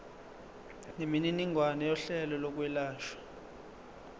nemininingwane yohlelo lokwelashwa